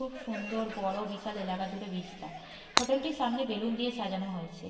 খুব সুন্দর বড় বিশাল এলাকা জুড়ে বিস্তার হোটেল টির সামনে বেলুন দিয়ে সাজানো হয়েছে ।